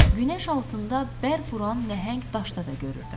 Günəş altında bərq vuran nəhəng daşda da görürdü.